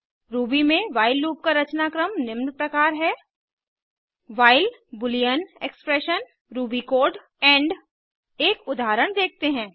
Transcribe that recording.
Ruby में while loop का रचनाक्रम निम्न प्रकार है while Boolean expression Ruby code end एक उदाहरण देखते हैं